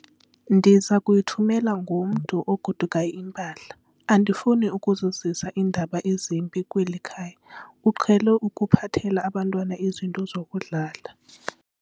Ndiza kuyithumela ngomntu ogodukayo impahla. andifuni ukuzisa iindaba ezimbi kweli khaya, uqhele ukuphathela abantwana izinto zokudlala